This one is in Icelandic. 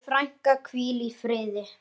Megi frænka hvíla í friði.